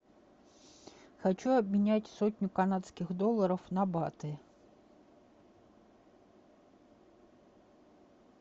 хочу обменять сотню канадских долларов на баты